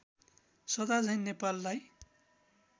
सदा झैं नेपाललाई